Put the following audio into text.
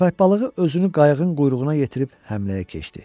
Köppək balığı özünü qayıqın quyruğuna yetirib həmləyə keçdi.